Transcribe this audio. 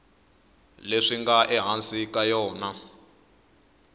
leswi nga ehansi ka yona